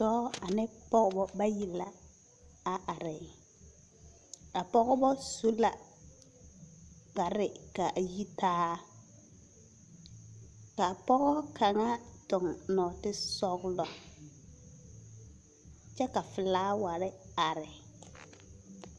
Dɔɔ ane pɔbɔ bayi la a are. A pɔbɔ su la kparre k’a yitaa. Ka pɔɔ kaŋa toŋ nɔɔtesɔgelɔ, kyɛ ka folaware are.